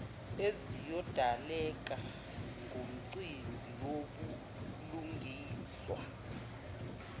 eziyodaleka ngomcimbi wobulungiswa